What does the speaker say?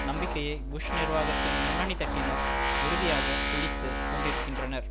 நம்பிக்கையை புஷ் நிர்வாகத்தின் முன்னணி தட்டினர் உறுதியாக பிடித்து கொண்டிருக்கின்றனர்